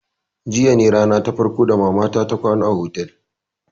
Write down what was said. Jiya ne rana ta farko ta mama ta ta kwana a otel